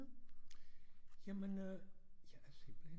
Jamen øh jeg er simpelthen